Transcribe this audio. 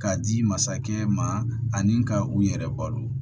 K'a di masakɛ ma ani ka u yɛrɛ balo